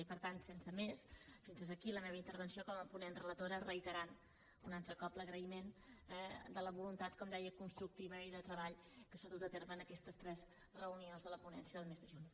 i per tant sense més fins aquí la meva intervenció com a ponent relatora reiterant un altre cop l’agraïment per la voluntat com deia constructiva i de treball que s’ha dut a terme en aquestes tres reunions de la ponència del mes de juny